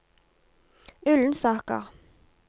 Ullensaker